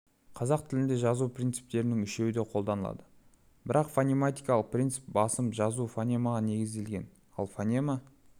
қазақ тілінде жазу принциптерінің үшеуі де қолданылады бірақ фонематикалық принцип басым жазу фонемаға негізделген ал фонема